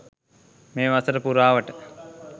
මේ වසර පුරාවට